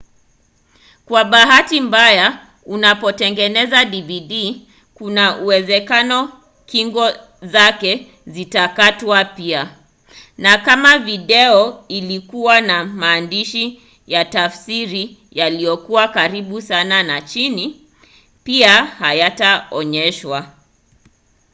kwa bahati mbaya unapotengeneza dvd kuna uwezekano kingo zake zitakatwa pia na kama video ilikuwa na maandishi ya tafsiri yaliyokuwa karibu sana na chini pia hayataonyeshwa